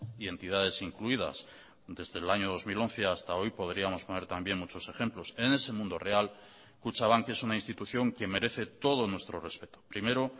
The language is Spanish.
y entidades incluidas desde el año dos mil once hasta hoy podríamos poner también muchos ejemplos en ese mundo real kutxabank es una institución que merece todo nuestro respeto primero